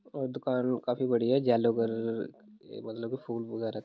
और दुकान काफी बढ़िया है येलो कलर के मतलब फूल वग़ैरा --